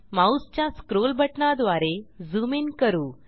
माऊसच्या स्क्रोल बटणाद्वारे zoom in करू